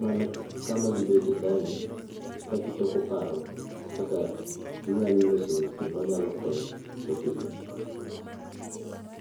mana kama gibete kaa ni ka gichoko paro kaka ginyalo loso weche manyalo konyo jopiny.